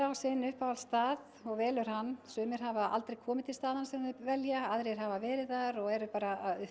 sinn uppáhaldsstað og velur hann sumir hafa aldrei komið til staðanna sem þau velja aðrir hafa verið þar og eru bara að